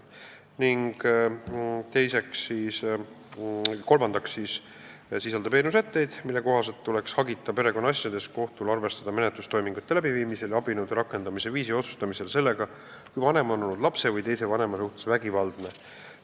Ning kolmandaks sisaldab eelnõu sätteid, mille kohaselt tuleks hagita perekonnaasjades kohtul arvestada menetlustoimingute läbiviimisel ja abinõude rakendamise viisi otsustamisel sellega, kui vanem on olnud lapse või teise vanema suhtes vägivaldne.